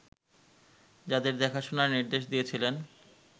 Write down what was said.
তাদের দেখাশোনার নির্দেশ দিয়েছিলেন